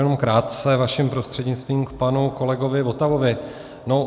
Jenom krátce vaším prostřednictvím k panu kolegovi Votavovi.